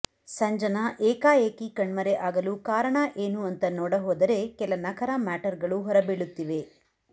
ಸಂಜನಾ ಏಕಾಏಕಿ ಕಣ್ಮರೆ ಆಗಲು ಕಾರಣ ಏನು ಅಂತ ನೋಡ ಹೋದರೆ ಕೆಲ ನಖರಾ ಮ್ಯಾಟರ್ಗಳು ಹೊರ ಬೀಳುತ್ತಿವೆ